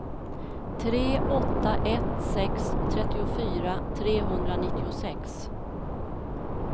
tre åtta ett sex trettiofyra trehundranittiosex